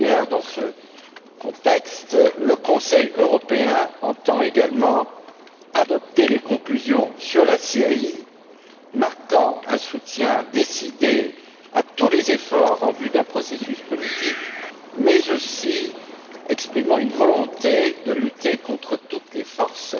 Dans ce contexte, le Conseil européen entend également adopter des conclusions sur la Syrie, marquant un soutien décidé à tous les efforts en vue d'un processus politique, mais aussi exprimant une volonté de lutter contre toutes les forces